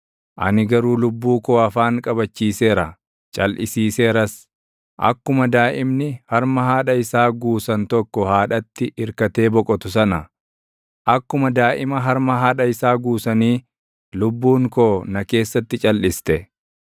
Ani garuu lubbuu koo afaan qabachiiseera; calʼisiiseeras; akkuma daaʼimni harma haadha isaa guusan tokko haadhatti irkatee boqotu sana, akkuma daaʼima harma haadha isaa guusanii lubbuun koo na keessatti calʼiste.